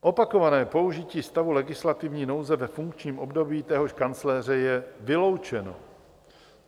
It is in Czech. Opakované použití stavu legislativní nouze ve funkčním období téhož kancléře je vyloučeno.